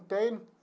Tem.